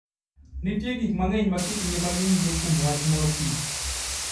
Nitie gik mang'eny ma kit ngimagi nyiso kuom wach mor kich.